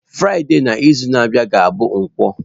Fraịde n'izu na-abịa ga-abụ nkwo.